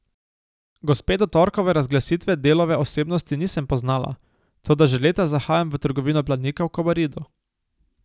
Gospe do torkove razglasitve Delove osebnosti nisem poznala, toda že leta zahajam v trgovino Planika v Kobaridu.